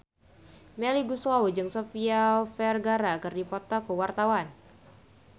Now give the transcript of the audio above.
Melly Goeslaw jeung Sofia Vergara keur dipoto ku wartawan